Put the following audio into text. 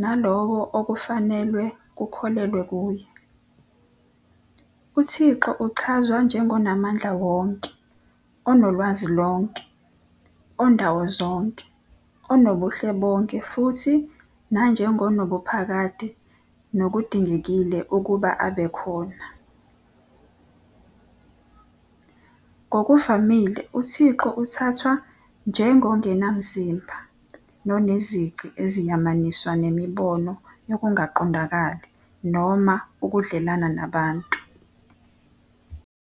nalowo okufanelwe kukholelwe kuye. UThixo uchazwa njengonaMandlawonke, onoLwazilonke, oNdawozonke, onoBuhlebonke futhi nanjengo nobuphakade nokudingekile ukuba abekhona. Ngokuvamile uThixo uthathwa njengongenamzimba, nonezici eziyamaniswa nemibono yokungaQondakali noma ukuDlelana nabantu.